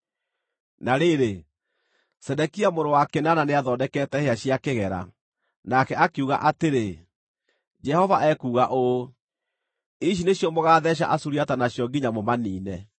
Na rĩrĩ, Zedekia mũrũ wa Kenaana nĩathondekete hĩa cia kĩgera, nake akiuga atĩrĩ, “Jehova ekuuga ũũ: ‘Ici nĩcio mũgatheeca Asuriata nacio nginya mũmaniine.’ ”